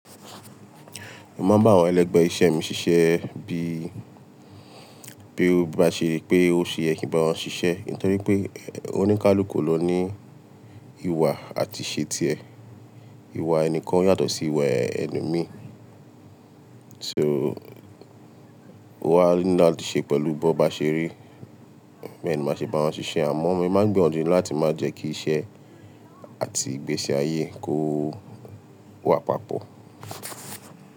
Mo máa ń bá àwọn ẹlẹgbẹ́ iṣẹ́ mi ṣiṣẹ́ bí, bí ó bá ṣe pé ó ṣe e yẹ ki nbá wọn ṣiṣẹ́. Nítorí pé oní ń kálú kú lọ ní ìwà àti ìṣe ti ẹ̀. Ìwà ẹnikan yàtọ̀ sí ìwà ẹlo mí. So, ò wàá ní láti ṣe pẹ̀lú bó bá ṣeré. Bẹ́ẹ̀ ni màá ṣe bá wọn ṣiṣẹ́, àmọ́n mo máa ń gbìyànjú láti má jẹ́ kí iṣẹ́ àti ìgbésí ayé kó wà papọ̀.